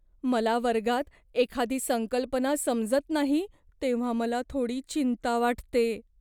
मला वर्गात एखादी संकल्पना समजत नाही तेव्हा मला थोडी चिंता वाटते.